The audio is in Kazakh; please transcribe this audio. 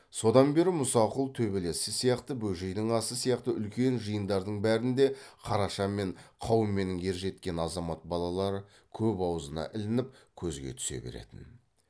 содан бері мұсақұл төбелесі сияқты бөжейдің асы сияқты үлкен жиындардың бәрінде қараша мен қауменнің ержеткен азамат балалары көп аузына ілініп көзге түсе беретін